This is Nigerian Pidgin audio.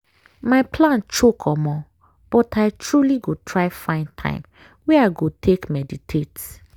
my plan choke omo!!! but i truely go try find time wey i go take meditate.